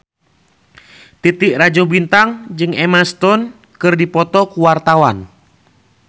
Titi Rajo Bintang jeung Emma Stone keur dipoto ku wartawan